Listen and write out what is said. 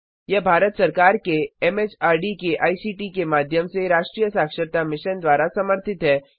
यह भारत सरकार के एमएचआरडी के आईसीटी के माध्यम से राष्ट्रीय साक्षरता मिशन द्वारा समर्थित है